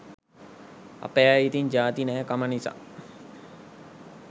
අපේ අය ඉතිං ජාති නෑ කම නිසා